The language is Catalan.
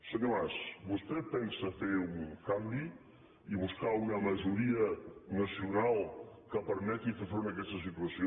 senyor mas vostè pensa fer un canvi i buscar una majoria nacional que permeti fer front a aquesta situació